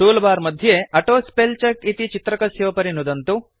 tool bar मध्ये auto spell check इति चित्रकस्योपरि नुदन्तु